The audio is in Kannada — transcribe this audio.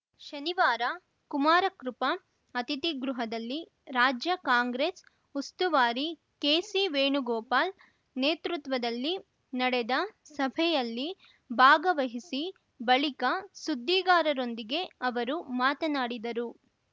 ಶನಿವಾರ ಕುಮಾರಕೃಪಾ ಅತಿಥಿಗೃಹದಲ್ಲಿ ರಾಜ್ಯ ಕಾಂಗ್ರೆಸ್‌ ಉಸ್ತುವಾರಿ ಕೆಸಿವೇಣುಗೋಪಾಲ್‌ ನೇತೃತ್ವದಲ್ಲಿ ನಡೆದ ಸಭೆಯಲ್ಲಿ ಭಾಗವಹಿಸಿ ಬಳಿಕ ಸುದ್ದಿಗಾರರೊಂದಿಗೆ ಅವರು ಮಾತನಾಡಿದರು